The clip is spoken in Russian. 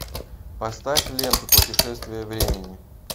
поставь ленту путешествие времени